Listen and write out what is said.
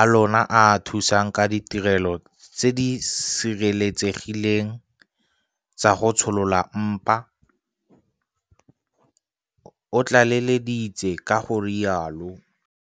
a lona a a thusang ka ditirelo tse di sireletsegileng tsa go tsholola mpa, o tlaleleditse ka go rialo.